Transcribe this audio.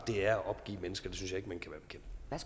er at opgive mennesker